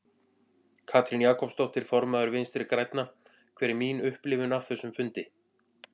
Katrín Jakobsdóttir, formaður Vinstri grænna: Hver er mín upplifun af þessum fundi?